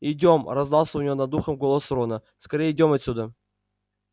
идём раздался у него над ухом голос рона скорее идём отсюда